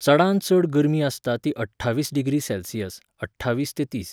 चडांत चड गरमी आसता ती अठ्ठावीस डिग्री सॅल्सियस, अठ्ठावीस ते तीस.